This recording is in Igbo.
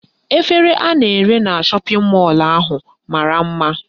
Efere ha na-ere na shọpịn mọlụ ahụ mara mma.